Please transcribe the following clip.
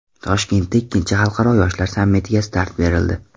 Toshkentda ikkinchi xalqaro yoshlar sammitiga start berildi.